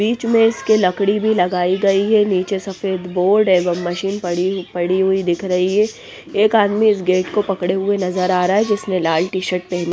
बीच में इसके लकड़ी भी लगाई गई हैं नीचे सफेद बोर्ड एवं मशीन पड़ी पड़ी हुई दिख रही है एक आदमी इस गेट को पकड़े हुए नजर आ रहा हैं जिसने लाल टी-शर्ट पहनी--